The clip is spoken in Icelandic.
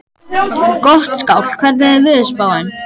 Gottskálk, hvernig er veðurspáin?